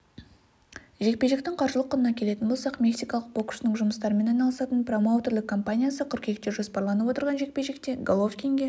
жекпе-жектің қаржылық құнына келетін болсақ мексикалық боксшының жұмыстарымен айналысатын промоутерлік комапниясы қыркүйекте жоспарланып отырған жекпе-жекте головкинге